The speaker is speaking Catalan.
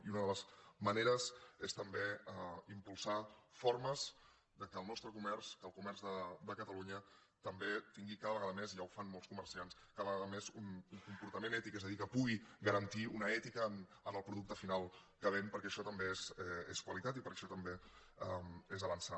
i una de les maneres és també impulsar formes perquè el nostre comerç el comerç de catalunya també tingui cada vegada més ja ho fan molts comerciants un comportament ètic és a dir que pugui garantir una ètica en el producte final que ven perquè això també és qualitat i perquè això també és avançar